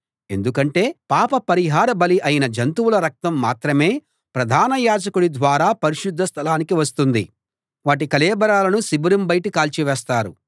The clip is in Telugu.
ఎందుకంటే పాప పరిహార బలి అయిన జంతువుల రక్తం మాత్రమే ప్రధాన యాజకుడి ద్వారా పరిశుద్ధ స్థలానికి వస్తుంది వాటి కళేబరాలను శిబిరం బయట కాల్చివేస్తారు